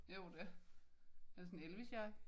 Jo det er sådan Elvis-jakke